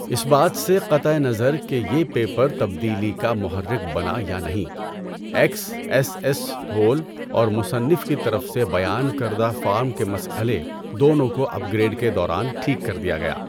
اس بات سے قطع نظر کہ یہ پیپر تبدیلی کا محرک بنا یا نہیں، ایکس ایس ایس ہول اور مصنف کی طرف سے بیان کردہ فارم کے مسئلے دونوں کو اپ گریڈ کے دوران ٹھیک کر دیا گیا۔